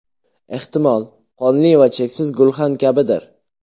Ehtimol, qonli va cheksiz gulxan kabidir?